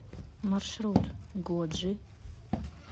маршрут годжи